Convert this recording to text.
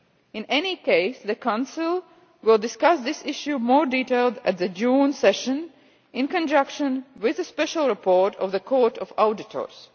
In any case, the Council will discuss this issue in more detail at the June session in conjunction with a special report of the Court of Auditors.